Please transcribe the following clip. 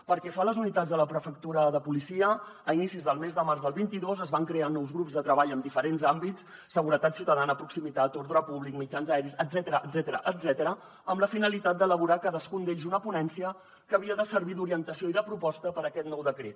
pel que fa a les unitats de la prefectura de policia a inicis del mes de març del vint dos es van crear nous grups de treball en diferents àmbits seguretat ciutadana proximitat ordre públic mitjans aeris etcètera amb la finalitat d’elaborar cadascun d’ells una ponència que havia de servir d’orientació i de proposta per a aquest nou decret